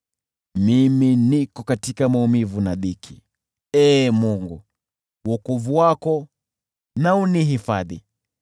Mimi niko katika maumivu na dhiki; Ee Mungu, wokovu wako na unihifadhi.